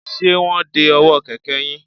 Ṣé wọ́n ń de ọwọ́ kẹ̀kẹ́ yín?